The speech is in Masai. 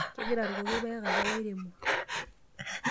Kegira aakurroki ilpayek apa oiremo.